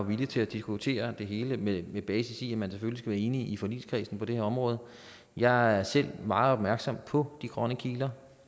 villig til at diskutere det hele med basis i at man selvfølgelig være enig i forligskredsen på det her område jeg er selv meget opmærksom på de grønne kiler